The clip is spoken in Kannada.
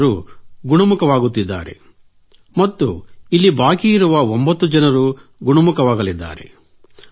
ಅವರೆಲ್ಲರೂ ಗುಣಮುಖರಾಗುತ್ತಿದ್ದಾರೆ ಮತ್ತು ಇಲ್ಲಿ ಬಾಕಿ ಇರುವ 9 ಜನರೂ ಗುಣಮುಖರಾಗಲಿದ್ದಾರೆ